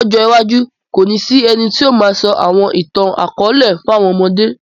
Lọ̀jọ iwajù, kóni si ẹ̀ni tió máà sọ àwọn ìtan-àkọọlẹ fàwọn ọmọde